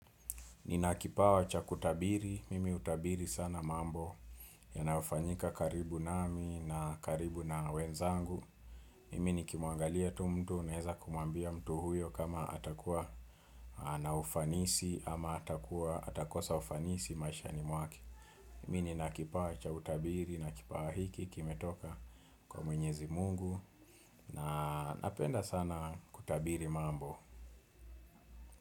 Nina kipawa cha kutabiri, mimi hutabiri sana mambo yanayofanyika karibu nami na karibu na wenzangu. Mimi nikimwangalia tu mtu naeza kumwambia mtu huyo kama atakuwa na ufanisi ama atakuwa atakosa ufanisi maishani mwake. Mimi nina kipawa cha utabiri na kipawa hiki kimetoka kwa mwenyezi mungu na napenda sana kutabiri mambo.